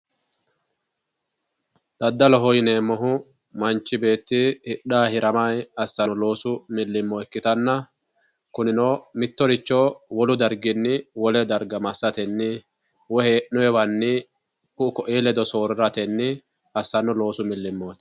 Daddalobo yineemmohu Manchi beetti hidhanni hiramanni assano loosu milimilo ikkittanna kunino mittoricho wolu darginni wole darga massatenni woyi hee'nonniwanni ku"u koi ledo sooriratenni assano loosu milimiloti.